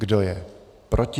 Kdo je proti?